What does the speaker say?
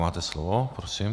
Máte slovo, prosím.